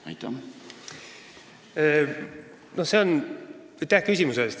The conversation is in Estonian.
Aitäh küsimuse eest!